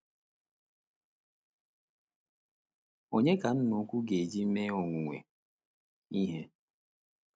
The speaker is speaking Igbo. Onye ka Nna Ukwu ga-eji mee owuwe ihe?